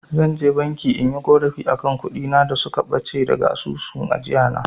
Zan je banki inyi ƙorafi akan kuɗin da suka ɓace daga asusun ajiyana.